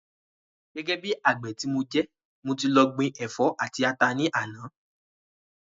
Gẹ́gẹ́ bí àgbè ti mo jẹ́, mo ti lọ gbin ẹ̀fọ́ àti ata ní àná